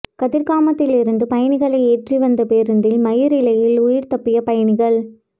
கதிர்காமத்திலிருந்து பயணிகளை ஏற்றி வந்த பேருந்தில் மயிரிழையில் உயிர் தப்பிய பயணிகள்